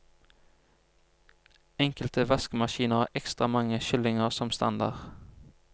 Enkelte vaskemaskiner har ekstra mange skyllinger som standard.